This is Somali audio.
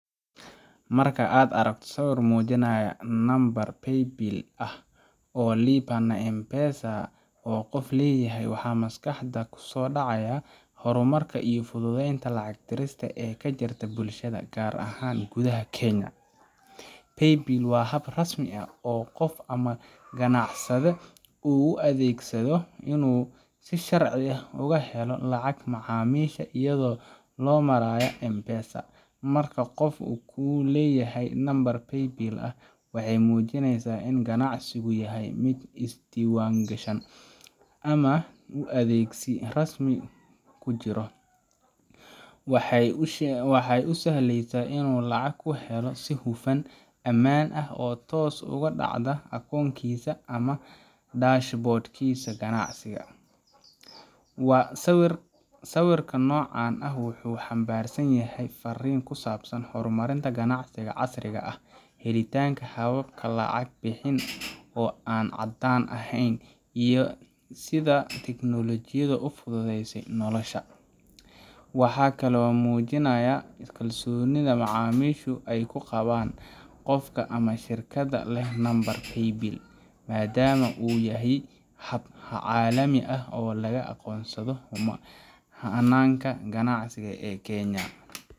Marka aad aragto sawir muujinaya nambar Paybill ah oo Lipa na M-PESA ah oo qof leeyahay, waxa maskaxda ku soo dhacaya horumarka iyo fududeynta lacag dirista ee ka jirta bulshada, gaar ahaan gudaha Kenya. Paybill waa hab rasmi ah oo qof ama ganacsade u adeegsado inuu si sharci ah uga helo lacag macaamiisha iyada oo loo marayo M-PESA. Marka qof uu leeyahay nambar Paybill ah, waxay muujineysaa in ganacsigiisu yahay mid isdiiwaangashan ama uu adeegsi rasmi ah ku jiro. Waxay u sahleysaa inuu lacag ku helo si hufan, ammaan ah, oo toos ugu dhacda akoonkiisa ama dashboard kiisa ganacsi. Sawirka noocan ah wuxuu xambaarsan yahay fariin ku saabsan horumarinta ganacsiga casriga ah, helitaanka habab lacag bixin oo aan caddaan ahayn, iyo sida tiknoolajiyaddu u fududeysay nolosha. Waxaa kaloo muujinaya kalsoonida macaamiishu ay ku qabaan qofka ama shirkadda leh nambarka Paybill, maadaama uu yahay hab caalami ah oo laga aqoonsado hannaanka ganacsi ee Kenya.